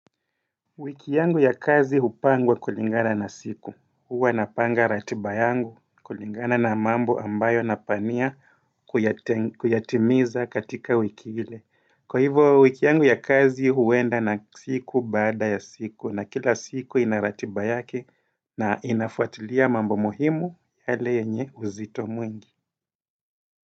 Wiki yangu ya kazi hupangwa kulingana na siku, huwa napanga ratiba yangu kulingana na mambo ambayo napania kuyatimiza katika wiki ile Kwa hivyo wiki yangu ya kazi huenda na siku baada ya siku na kila siku inaratiba yake na inafuatilia mambo muhimu yale yenye uzito mwingi.